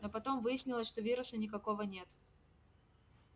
но потом выяснилось что вируса никакого нет